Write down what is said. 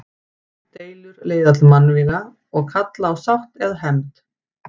Deilur leiða til mannvíga og kalla á sátt eða hefnd.